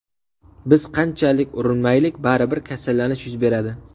Biz qancha urinmaylik, baribir kasallanish yuz beradi.